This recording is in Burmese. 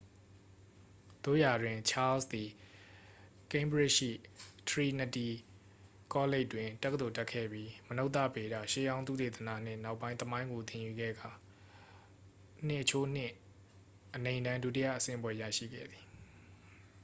သို့ရာတွင် ချားလ်စ်သည် ကိန်းဘရစ်ရှိ ထရီနတီကောလိပ်တွင် တက္ကသိုလ်တက်ခဲ့ပြီး မနုဿဗေဒ၊ ရှေးဟောင်းသုတေသနနှင့် နောက်ပိုင်း သမိုင်းကို သင်ယူခဲ့ကာ ၂:၂ အနိမ့်တန်း ဒုတိယဆင့်ဘွဲ့ရရှိခဲ့သည်။